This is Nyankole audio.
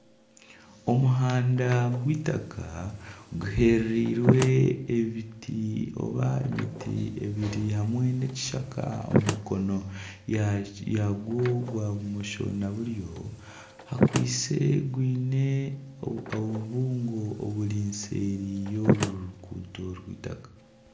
Omuhanda gwitaka guherereirwe ebiti oba emiti ebiti hamwe nana ekishaka omu mukono gwayo ya bumosho nana buryo hakwaitse haine obubungo buri seeri y'oruguuto rw'eitaka.